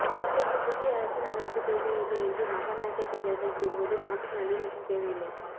நாட்டுக்குப் புதிய அரசியலமைப்புத் தேவையில்லை என்று மகாநாயக்க தேரர்கள் கூறுவது நாட்டில் நல்லிணக்கம் தேவையில்லை